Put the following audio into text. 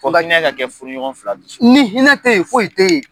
Hinɛ ka kɛ furuɲɔgɔn fila ni ɲɔgƆncƐ ni hinƐ teyi foyi tɛ yen